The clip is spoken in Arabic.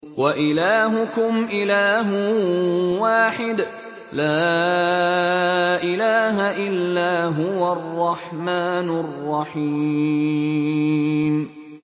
وَإِلَٰهُكُمْ إِلَٰهٌ وَاحِدٌ ۖ لَّا إِلَٰهَ إِلَّا هُوَ الرَّحْمَٰنُ الرَّحِيمُ